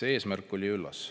Eesmärk oli üllas.